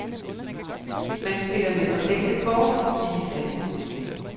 Man spiller med fordækte kort, siges det.